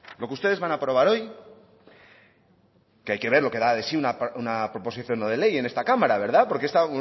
lo que ustedes van a aprobar hoy que hay que ver lo que da de sí una proposición no de ley en esta cámara verdad porque es